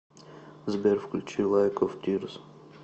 сбер включи лайк оф тирс